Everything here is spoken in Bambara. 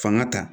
Fanga ta